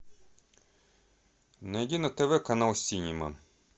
найди на тв канал синема